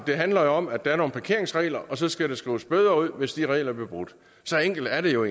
det handler jo om at der er nogle parkeringsregler og så skal der skrives bøder ud hvis de regler bliver brudt så enkelt er det jo